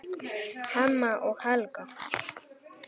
Hemma og Helga.